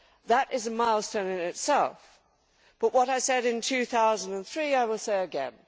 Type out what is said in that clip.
That is a milestone in itself, but what I said in 2003 I will say again.